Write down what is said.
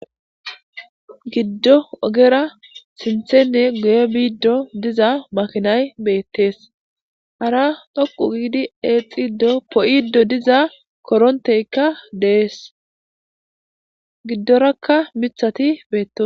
giddo ogera sinthenne guye biiddo diza makinay beettees hara dhoqu giidi eexiddo po'iddo diza koronteykka de'es giddorakka mithati beetto